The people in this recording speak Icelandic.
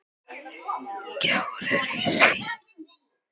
Gjár eru í því.